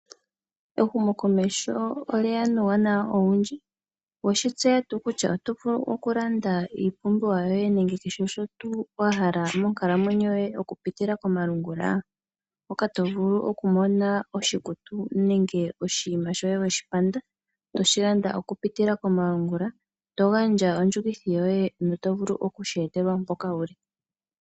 Ehumo komeho olyeya nuuwanawa owundji. Oweshi tseya tuu kutya oto vulu oku landa iipumbiwa yoye nenge kehe shoka wa hala monkalamwenyo yoye oku pitila komalungula. Mpoka to vulu oku mona oshikutu nenge oshiima shoye weshi panda toshi landa oku pitila komalungula togandja ondjukithi yoye noto vulu okushi etelwa mpoka wuli.